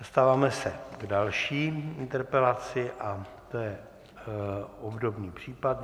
Dostáváme se k další interpelaci a to je obdobný případ.